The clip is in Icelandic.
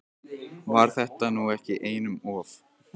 Var þetta nú ekki einum of?